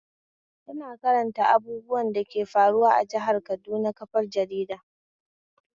Ina karanta abubuwan dake faruwa a jihar Kaduna kafar jarida